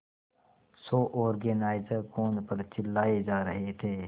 show organiser phone पर चिल्लाए जा रहे थे